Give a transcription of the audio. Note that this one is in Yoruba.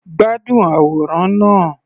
Gbádùn àwòrán náà.